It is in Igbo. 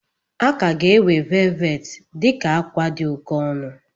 A ka ga-ewe velvet dị ka akwa dị oke ọnụ.